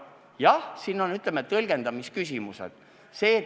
Jah, siin on, ütleme, tõlgendamise küsimused.